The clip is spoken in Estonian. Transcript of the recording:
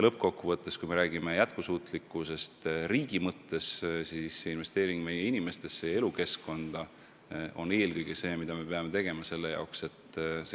Lõppkokkuvõttes, kui me räägime riigi jätkusuutlikkusest, siis just investeering meie inimestesse ja elukeskkonda selle tagabki.